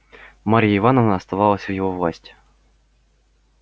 марья ивановна оставалась в его власти